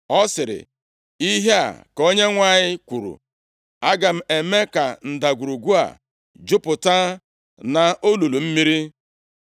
Ọ sịrị, “Ihe a ka Onyenwe anyị kwuru, aga m eme ka ndagwurugwu a jupụta nʼolulu mmiri.